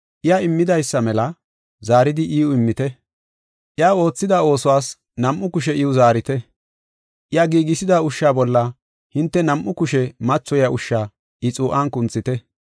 Iya immidaysa mela zaaridi iw immite. Iya oothida oosuwas nam7u kushe iw zaarite. Iya giigisida ushsha bolla hinte nam7u kushe mathoyiya ushsha I xuu7an kunthite.